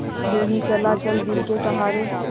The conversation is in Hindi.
यूँ ही चला चल दिल के सहारे